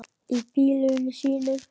Í bílunum sínum.